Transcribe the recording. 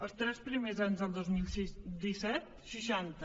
els tres primers mesos del dos mil disset seixanta